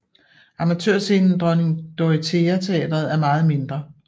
Amatørscenen Dronning Dorothea teatret er meget mindre